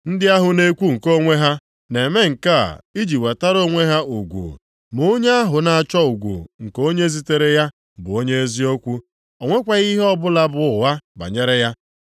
Ndị ahụ na-ekwu nke onwe ha na-eme nke a iji wetara onwe ha ugwu, ma onye ahụ na-achọ ugwu nke onye zitere ya bụ onye eziokwu; o nwekwaghị ihe ọbụla bụ ụgha banyere ya.